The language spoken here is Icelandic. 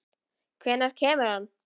Hvenær kemur hann?